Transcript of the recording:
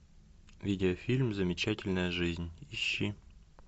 видеофильм замечательная жизнь ищи